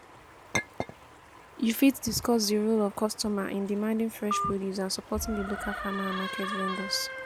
You fit discuss di role of customer in demanding fresh produce and supporting di local farmer and market vendors.